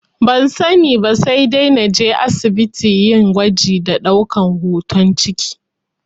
Ban sani ba, sai dai naje asibiti yin gwaji da ɗaukan hoton ciki